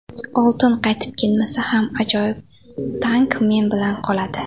Oltin qaytib kelmasa ham, ajoyib tank men bilan qoladi.